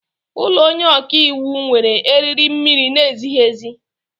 Ụlọ onye ọka iwu nwere eriri mmiri na-ezighi ezi.